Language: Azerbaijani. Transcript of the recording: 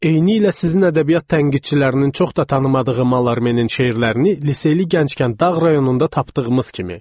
"Eynilə sizin ədəbiyyat tənqidçilərinin çox da tanımadığı Malarmenin şeirlərini liseyli gənc kənd dağ rayonunda tapdığımız kimi."